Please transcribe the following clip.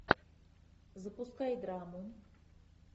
запускай драму